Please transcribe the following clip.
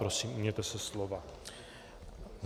Prosím, ujměte se slova.